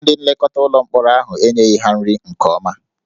Ndị nlekọta ụlọ mkpọrọ ahụ enyeghị ha nri nke ọma